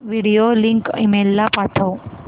video link email ला पाठव